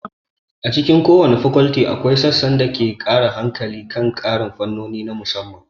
A cikin kowace fakolti, akwai sassan da ke mai da hankali kan ƙarin fannoni na musamman.